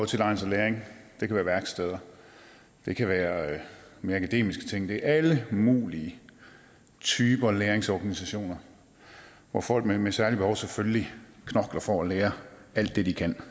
tilegne sig læring det kan være værksteder det kan være mere akademiske ting det er alle mulige typer læringsorganisationer hvor folk med med særlige behov selvfølgelig knokler for at lære alt det de kan